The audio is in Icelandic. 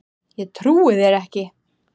Ég trúi þér ekki.